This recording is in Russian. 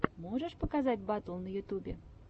можешь показать батл на ютьюбе